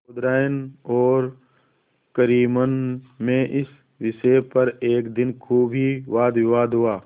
चौधराइन और करीमन में इस विषय पर एक दिन खूब ही वादविवाद हुआ